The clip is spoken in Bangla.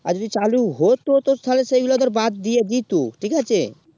আর যদি হতো তো তালে সেই গুলু দের বাদ দিয়ে দিতো ঠিক আছে